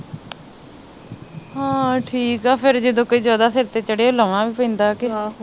ਹਾਂ ਠੀਕ ਆ ਫਿਰ ਜਦੋ ਕੋਈ ਜਿਆਦਾ ਸਿਰ ਤੇ ਚੜੇ ਲਾਉਣਾ ਵੀ ਪੈਂਦਾ ਕੇ